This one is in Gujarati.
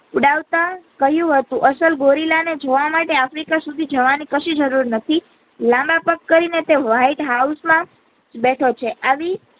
ઉડાવતા કહયું હતું અસલ ગોરીલા ને જોવા માટે આફ્રિકા સુધી જવા ની કસી જરૂર નથી લાંબા પગ કહી ના શકો વાઈટ હાઉસ માં બેઠો છે.